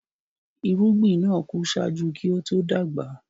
Irugbin naa ku ṣájú kí o to dagba.